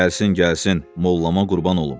Gəlsin, gəlsin, mollama qurban olum.